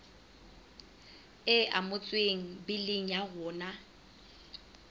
e amohetswe biling ya rona